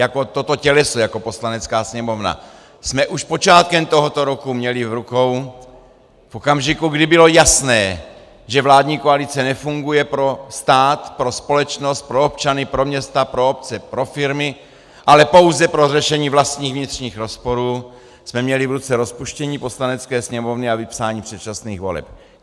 Jako toto těleso, jako Poslanecká sněmovna jsme už počátkem tohoto roku měli v rukou v okamžiku, kdy bylo jasné, že vládní koalice nefunguje pro stát, pro společnost, pro občany, pro města, pro obce, pro firmy, ale pouze pro řešení vlastních vnitřních rozporů, jsme měli v ruce rozpuštění Poslanecké sněmovny a vypsání předčasných voleb.